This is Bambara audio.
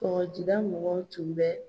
Kɔkɔjida mɔgɔ tun bɛ